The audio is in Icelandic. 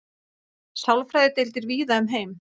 sálfræðideildir víða um heim